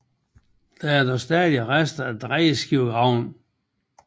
Der er dog stadig rester af drejeskivegraven